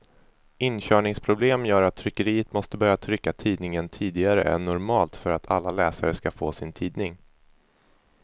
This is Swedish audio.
Inkörningsproblem gör att tryckeriet måste börja trycka tidningen tidigare än normalt för att alla läsare ska få sin tidning.